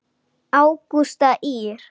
Ágústa Ýr.